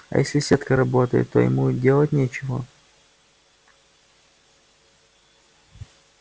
а если сетка работает то ему делать нечего